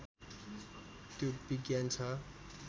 त्यो विज्ञान छ